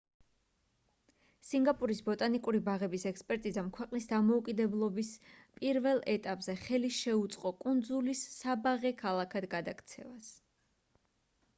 სინგაპურის ბოტანიკური ბაღების ექსპერტიზამ ქვეყნის დამოუკიდებლების პირველ ეტაპზე ხელი შეუწყო კუნძულის საბაღე ქალაქად გადაქცევას